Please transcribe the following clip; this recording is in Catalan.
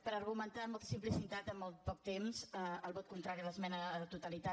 per argumentar amb molta simplicitat en el poc temps el vot contrari a l’esmena a la totalitat